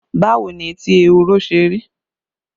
Báwo ni etí ehoro ṣe rí?